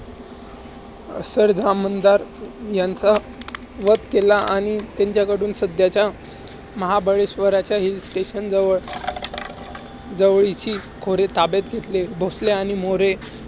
सरधामंदार ह्यांचा वध केला. आणि त्यांच्याकडून सध्याच्या महाबळेश्वरच्या hill station जवळ~ जवळीची खोरे ताब्यात घेतली. भोसले आणि मोरे